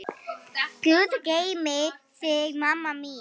Guð geymi þig, mamma mín.